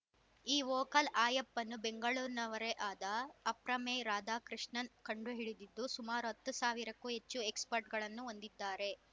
ಈ vocal app ಅನ್ನು ಬೆಂಗಳೂರಿನವರೇ ಆದ ಅಪ್ರಮೇಯ ರಾಧಾಕೃಷ್ಣನ್‌ ಕಂಡುಹಿಡಿದಿದ್ದು ಸುಮಾರು ಹತ್ತು ಸಾವಿರಕ್ಕೂ ಹೆಚ್ಚು ಎಕ್ಸಪಟ್ಸ್‌ರ್‍ಗಳನ್ನು ಹೊಂದಿದ್ದಾರೆ